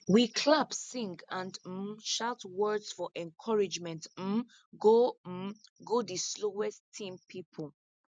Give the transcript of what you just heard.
we clap sing and um shout words for encouragement um go um go di slowest team pipo